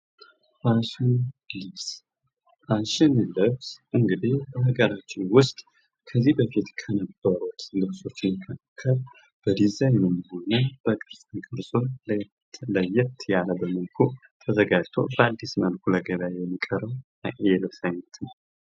ፋሽን ልብስ እንግዲህ ሃገራችን ውስጥ ከዚህ በፊት ከነበሩት ልብሶች መካከል በዲዛይንም ሆነ በቅርፃ ቅርሶች ለየት ባለመልኩ ተዘጋጅቶ በአዲስ መልኩ ለገበያ የሚቀርብ የልብስ አይነት ነው ።